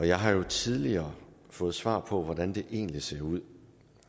jeg har jo tidligere fået svar på hvordan det egentlig ser ud